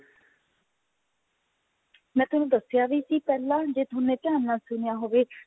ਮੈਂ ਤੁਹਾਨੂੰ ਦਸਿਆ ਵੀ ਸੀ ਪਹਿਲਾ ਜੇ ਥੋਨੇ ਧਿਆਨ ਨਾਲ ਸੁਣਿਆ ਹੋਵੇ